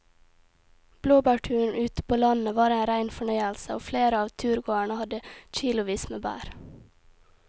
Blåbærturen ute på landet var en rein fornøyelse og flere av turgåerene hadde kilosvis med bær.